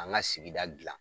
An ŋa sigida dilan